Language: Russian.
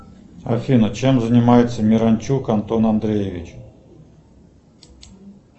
афина чем занимается миранчук антон андреевич